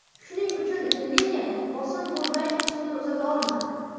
Shuning uchun liniyada bosim bo‘lmay suvni uzata olmadi.